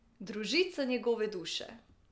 Družica njegove duše!